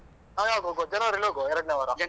ನಾವ್ ಯಾವಾಗ ಹೋಗುವ ಜನವರಿ ಅಲ್ಲಿ ಹೋಗುವ ಎರಡ್ನೆ ವಾರ.